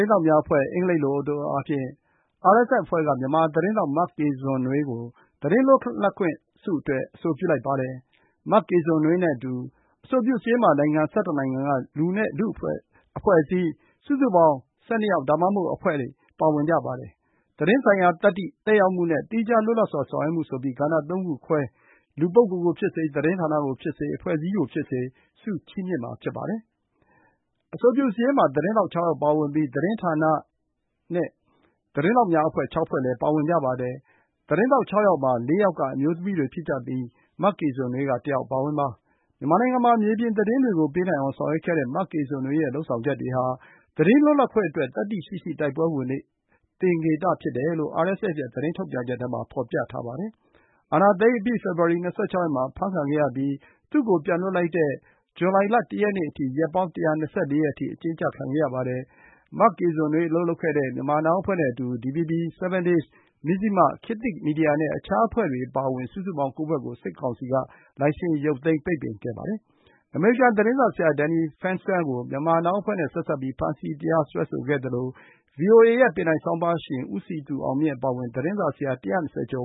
င်းထောက်များအဖွဲ့၊ အင်္ဂလိပ်လို အတိုအားဖြင့် RSF အဖွဲ့က Myanmar Now သတင်းထောက် မကေဇင်နွေးကို သတင်းလွတ်လပ်ခွင့်ဆုအတွက် အဆိုပြုလိုက်ပါတယ်။ မကေဇင်နွေးနဲ့အတူ အဆိုပြုစာရင်းမှာ နိုင်ငံ ၁၁ နိုင်ငံက လူနဲ့ အဖွဲ့အစည်း စုစုပေါင်း ၁၂ ယောက် ဒါမှမဟုတ် အဖွဲ့ ပါဝင်ကြပါတယ်။ သတင်းဆိုင်ရာ သတ္တိ၊ သက်ရောက်မှုနဲ့ သီးခြား လွတ်လပ်စွာ ဆောင်ရွက်မှုဆိုပြီး ကဏ္ဍ ၃ ခုခွဲ လူပုဂ္ဂိုလ်ကိုဖြစ်စေ၊ သတင်းဌာနကိုဖြစ်စေ၊ အဖွဲ့အစည်းကိုဖြစ်စေ ဆုချီးမြှင့်မှာ ဖြစ်ပါတယ်။ အဆိုပြုစာရင်းမှာ သတင်းထောက် ၆ ယောက် ပါဝင်ပြီး သတင်းဌာနနဲ့ သတင်းထောက်များ အဖွဲ့ ၆ ဖွဲ့ ပါဝင်ကြပါတယ်။ သတင်းထောက် ၆ ယောက်မှာ ၄ ယောက်က အမျိုးသမီးတွေ ဖြစ်ကြပြီး မကေဇင်နွေးက တယောက် အပါအဝင်ပါ။ မြန်မာနိုင်ငံမှာ မြေပြင်သတင်းတွေကို ပေးနိုင်အောင် ဆောင်ရွက်ခဲ့တဲ့ မကေဇင်နွေးရဲ့ လုပ်ဆောင်ချက်တွေဟာ သတင်းလွတ်လပ်ခွင့်အတွက် သတ္တိရှိရှိ တိုက်ပွဲဝင်တဲ့ သင်္ကေတ ဖြစ်တယ်လို့ RSF ရဲ့ သတင်းထုတ်ပြန်ချက်ထဲမှာ ဖော်ပြထားပါတယ်။ အာဏာသိမ်းအပြီး ဖေဖော်ဝါရီလ ၂၆ ရက်မှာ အဖမ်းခံခဲ့ရပြီး သူ့ကို ပြန်လွှတ်လိုက်တဲ့ ဇူလိုင် ၁ ရက်နေ့အထိ ရက်ပေါင်း ၁၂၄ ရက် အကျဉ်းကျခံခဲ့ရပါတယ်။ မကေဇင်နွေး အလုပ်လုပ်ခဲ့တဲ့ Myanmar Now အဖွဲ့နဲ့အတူ DVB, 7 Days, Mizzima, ခေတ်သစ်မီဒီယာနဲ့ အခြားအဖွဲ့တွေ အပါအဝင် စုစုပေါင်း ၉ ဖွဲ့ကို စစ်ကောင်စီက လိုင်စင်ရုပ်သိမ်း ပိတ်ပင်ခဲ့ပါတယ်။ အမေရိကန် သတင်းစာဆရာ Danny Fernster ကို Myanmar Now အဖွဲ့နဲ့ ဆက်စပ်ပြီး ဖမ်းဆီး တရားစွဲဆိုထားပါတယ်။ ဗွီအိုအေရဲ့ ပင်တိုင်ဆောင်းပါးရှင် ဦးစည်သူအောင်မြင့် အပါအဝင် သတင်းစာဆရာ ၅၀ ကျေ